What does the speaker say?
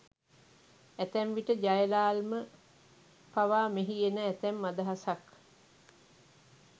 ඇතැම් විට ජයලාල් ම පවා මෙහි එන ඇතැම් අදහසක්